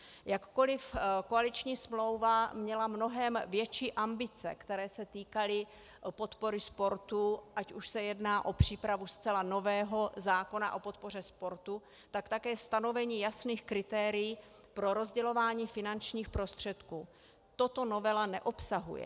Jakkoliv koaliční smlouva měla mnohem větší ambice, které se týkaly podpory sportu, ať už se jedná o přípravu zcela nového zákona o podpoře sportu, tak také stanovení jasných kritérií pro rozdělování finančních prostředků, toto novela neobsahuje.